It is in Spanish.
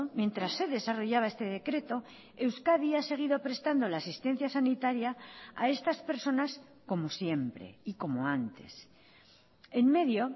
mientras se desarrollaba este decreto euskadi ha seguido prestando la asistencia sanitaria a estas personas como siempre y como antes en medio